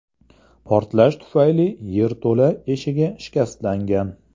Portlash tufayli yerto‘la eshigi shikastlangan.